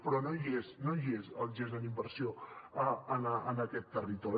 però no hi és no hi és el gest en inversió en aquest territori